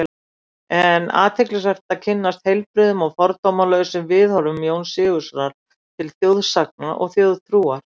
Er athyglisvert að kynnast heilbrigðum og fordómalausum viðhorfum Jóns Sigurðssonar til þjóðsagna og þjóðtrúar.